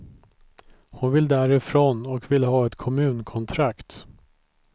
Hon vill därifrån och vill ha ett kommunkontrakt.